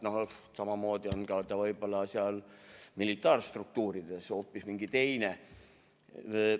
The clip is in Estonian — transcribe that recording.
Samamoodi on see võib-olla militaarstruktuurides hoopis teine asi.